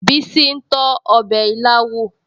Bísí ń tọ́ ọbẹ̀ ilá wò